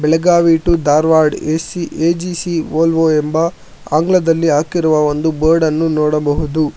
Belagavi to Dharwad AC AGC Volvo ಆಂಗ್ಲದಲ್ಲಿ ಹಾಕಿರುವ ಒಂದು ಬೋರ್ಡ್ ಅನ್ನು ನೋಡಬಹುದು.